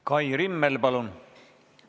Kai Rimmel, palun!